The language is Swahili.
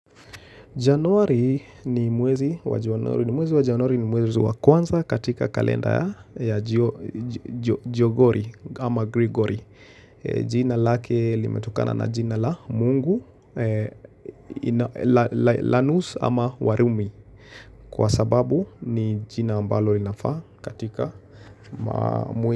Januari ni mwezi wa januari ni mwezi wa kwanza katika kalenda ya jio jo Jogori ama Gregory jina lake limetokana na jina la mungu, thanos ama warumi. Kwa sababu ni jina mbalo linafaa katika mwezi.